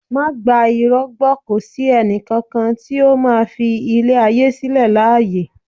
Má gba irọ́ gbó kò sí ẹnì kankan tí ó máa fi ilé ayé sílẹ̀ láàyè